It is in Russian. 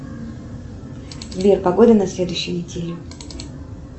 сбер погода на следующую неделю